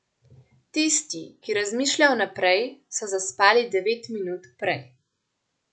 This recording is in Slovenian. Tisti, ki razmišljajo vnaprej, so zaspali devet minut prej.